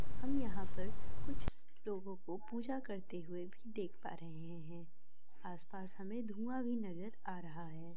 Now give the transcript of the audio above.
हम यहाँ पर कुछ लोगों को पूजा करते हुए भी देख पा रहे हैं| आस-पास हमें धुआं भी नजर आ रहा है।